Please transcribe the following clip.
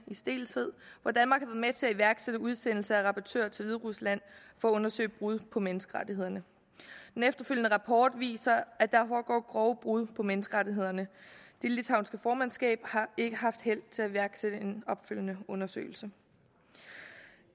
og danmark har med til at iværksætte udsendelse af rapportører til hviderusland for at undersøge brud på menneskerettighederne den efterfølgende rapport viser at der foregår grove brud på menneskerettighederne det litauiske formandskab har ikke haft held til at iværksætte en opfølgende undersøgelse